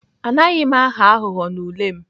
Anaghị m aghọ aghụghọ n'ule m.